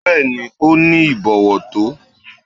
Bẹ́ẹ̀ni, ó ní ìbọ̀wọ̀ tó.